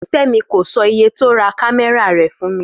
Fé̩mi kò so̩ iye tí ó ra kámé̩rà rè̩ fún mi